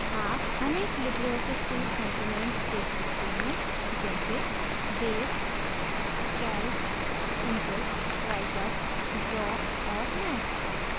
आप अनेक LibreOffice suite components देख सकते हैं जैसे base calc impress writer draw और math